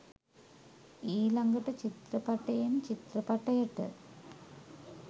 ඊළගට චිත්‍රපටයෙන් චිත්‍රපටයට